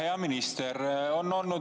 Hea minister!